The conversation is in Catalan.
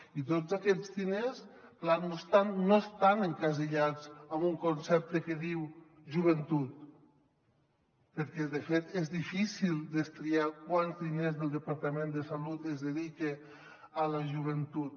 i tots aquests diners clar no estan encasellats en un concepte que diu joventut perquè de fet és difícil destriar quants diners del departament de salut es dediquen a la joventut